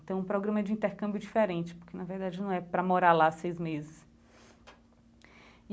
Então, um programa de intercâmbio diferente, porque na verdade não é para morar lá seis meses e.